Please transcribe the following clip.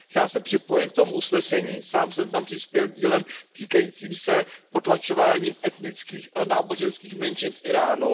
Já se připojuji k tomu usnesení, sám jsem tam přispěl dílem týkajícím se potlačování etnických a náboženských menšin v Íránu.